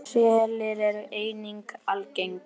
Selir eru einnig algeng sjón.